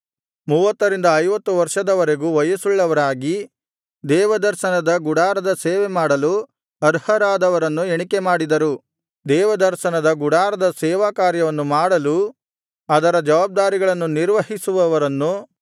ಮೂವತ್ತರಿಂದ ಐವತ್ತು ವರ್ಷದವರೆಗೂ ವಯಸ್ಸುಳ್ಳವರಾಗಿ ದೇವದರ್ಶನದ ಗುಡಾರದ ಸೇವೆ ಮಾಡಲು ಅರ್ಹರಾದವರನ್ನು ಎಣಿಕೆ ಮಾಡಿದರು ದೇವದರ್ಶನದ ಗುಡಾರದ ಸೇವಕಾರ್ಯವನ್ನು ಮಾಡಲೂ ಅದರ ಜವಾಬ್ದಾರಿಗಳನ್ನು ನಿರ್ವಹಿಸುವವರನ್ನು ಗೋತ್ರಕುಟುಂಬಗಳ ಪ್ರಕಾರ ಲೆಕ್ಕಿಸಿದರು